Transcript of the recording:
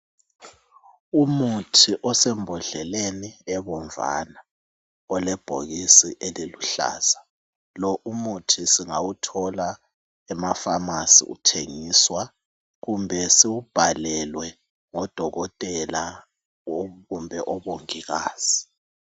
Umuthi osembodleleni ebomvana olebhokisi eliluhlaza lo umuthi singawuthola emaphamacy uthengiswa kumbe siwubhalelwe ngodokotela kumbe omongikazi